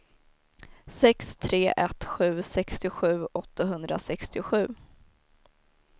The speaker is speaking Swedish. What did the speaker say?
sex tre ett sju sextiosju åttahundrasextiosju